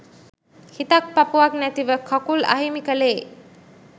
හිතක් පපුවක් නැතිව කකුල් අහිමි කලේ.